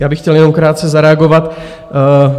Já bych chtěl jenom krátce zareagovat.